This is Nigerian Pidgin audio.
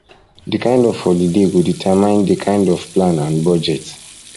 the kind of holiday go determine di kind of plan and budget